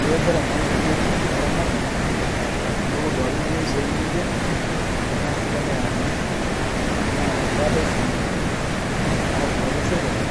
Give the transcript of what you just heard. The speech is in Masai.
Eekore naa neripieki laramatak tonopuo duake nomwai suom enshee tanaa sii teneyaa lamei naa keatai silinkinii natipika apaa sirkalii